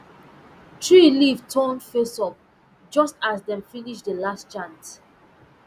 tree leaf turn face up just as dem finish the last chant